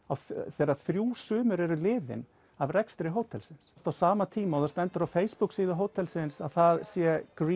þegar þrjú sumur eru liðin af rekstri hótelsins á sama tíma og það stendur á Facebook síðu hótelsins að það sé